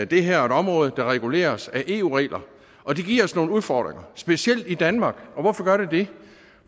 det her er et område der reguleres af eu regler og det giver os nogle udfordringer specielt i danmark og hvorfor gør det det